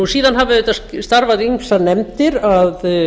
síðan hafa auðvitað starfað ýmsar nefndir að